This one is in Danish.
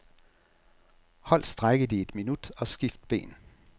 Hold strækket i et minut og skift ben.